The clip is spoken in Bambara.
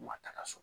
Ma taga so